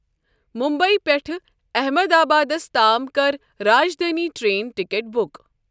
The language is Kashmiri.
ممبیہِ پٮ۪ٹھٕ احمدآبادَس تام کَر راجدھانی ٹرین ٹکٹ بُک۔